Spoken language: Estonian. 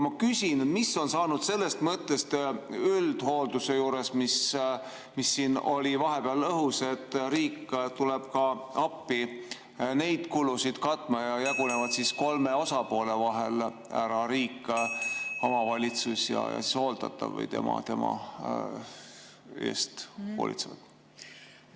Aga mis on saanud sellest mõttest üldhoolduse juures, mis oli vahepeal õhus, et riik tuleb appi neid kulusid katma ja kulud jagunevad kolme osapoole vahel : riik, omavalitsus ja hooldatav või tema eest hoolitsejad?